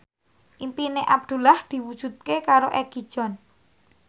impine Abdullah diwujudke karo Egi John